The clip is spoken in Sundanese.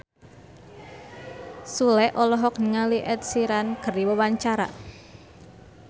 Sule olohok ningali Ed Sheeran keur diwawancara